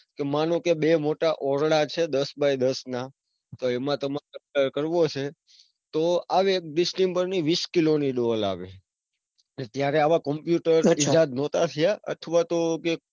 તો માનો કે બે મોટા ઓરડા છે દસ બાય દસ ના તો એમાં તમારે colour કરવો છે તો હવે distember ની વિસ કિલો ની ડોલ આવે ત્યારે આવા computer નહોતા થયા. અથવા તો કે,